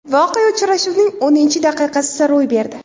Voqea uchrashuvning o‘ninchi daqiqasida ro‘y berdi.